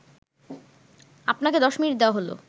আপনাকে ১০ মিনিট দেওয়া হলো